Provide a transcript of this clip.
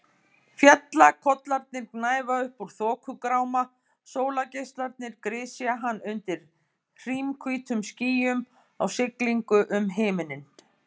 Fjallakollarnir gnæfa upp úr þokugráma, sólargeislarnir grisja hann undir hrímhvítum skýjum á siglingu um himininn.